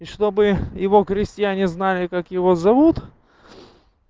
и чтобы его крестьяне знали как его зовут